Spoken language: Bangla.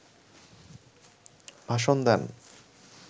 ভাষণ দেন